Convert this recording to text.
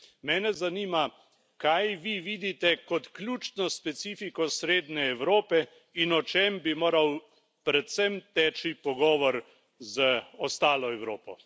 Mene zanima, kaj vi vidite kot ključno specifiko Srednje Evrope in o čem bi moral predvsem teči pogovor z ostalo Evropo?